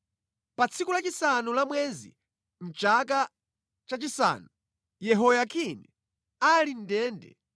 Pa tsiku lachisanu la mwezi, chaka chachisanu Yehoyakini ali mʼndende,